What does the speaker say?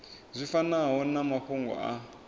zwi fanaho na mafhungo a